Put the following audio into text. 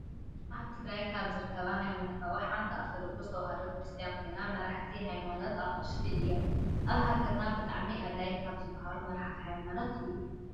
ኣብ ትግራይ ካብ ዝርከባ ሃይማኖታት ሓንቲ ኦርቶዶክስ ተዋህዶ ክርስትያን ኮይና መራሕቲ ሃይማኖት ኣቅሽሽቲ እዮም ። ኣብ ሃገርና ብጣዕሚ ኣድላይ ካብ ዝባሃሉ መራሕቲ ሃይማኖት እዮም ።